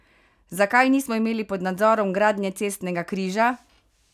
Zakaj nismo imeli pod nadzorom gradnje cestnega križa?